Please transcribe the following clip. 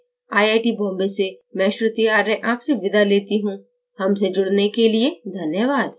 यह tutorial this Amit Kumar द्वारा अनुवादित है आईआईटी बॉम्बे से मैं श्रुति आर्य आपसे विदा लेती हूँ